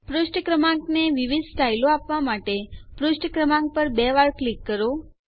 પુષ્ઠ ક્રમાંકને વિવિધ સ્ટાઈલો શૈલીઓ આપવા માટે પુષ્ઠ ક્રમાંક પર બે વાર ક્લિક કરો